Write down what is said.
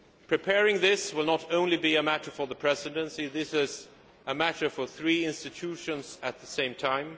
Preparing this will not only be a matter for the Presidency this is a matter for three institutions at the same time.